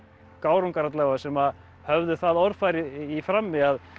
gárungar alla vega sem höfðu það orðfæri í frammi að